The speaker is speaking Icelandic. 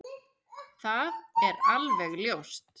Það er alveg ljóst!